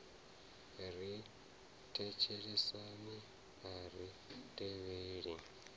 ri thetshelesi a ri tevheli